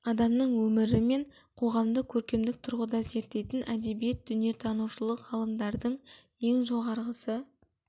адамның өмірі мен қоғамды көркемдік тұрғыда зерттейтін әдебиет дүниетанушылық ғылымдардың ең жоғарғысы